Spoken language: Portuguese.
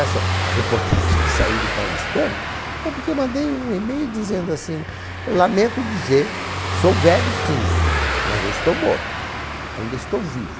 Essa, a reportagem que saiu do paulistano, foi porque eu mandei um e-mail dizendo assim, eu lamento dizer, sou velho sim, mas não estou morto, ainda estou vivo.